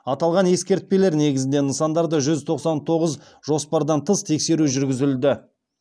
аталған ескерпелер негізінде нысандарда жүз тоқсан тоғыз жоспардан тыс тексеру жүргізілді